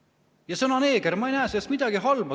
Ja sõna "neeger", ma ei näe selles midagi halba.